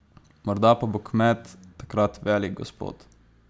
Morda pa bo kmet takrat velik gospod.